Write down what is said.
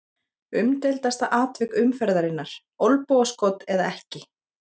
Umdeildasta atvik umferðarinnar: Olnbogaskot eða ekki?